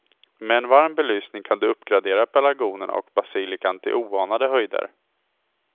Med en varm belysning kan du uppgradera pelargonerna och basilikan till oanade höjder.